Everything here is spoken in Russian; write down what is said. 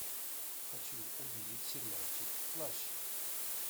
хочу увидеть сериальчик плащ